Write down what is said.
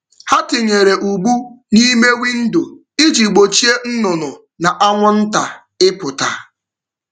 Ha tinyere ụgbụ n’ime windo iji gbochie nnụnụ na anwụnta ịpụta.